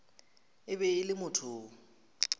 e be e le motho